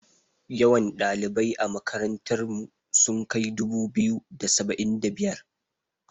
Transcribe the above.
Yawan ɗalibai a makarantar mu sun kai dubu-biyu da saba'in da biyar.